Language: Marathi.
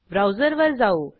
ब्राऊजरवर जाऊ